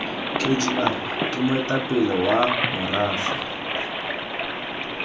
kgr ke moetapele wa morafe